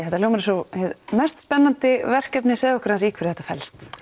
þetta hljómar eins og hið mest spennandi verkefni segðu okkur aðeins í hverju þetta felst